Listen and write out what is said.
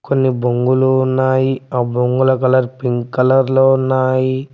కొన్ని బొంగులు ఉన్నాయి ఆ బొంగుల కలర్ పింక్ కలర్ లో ఉన్నాయి.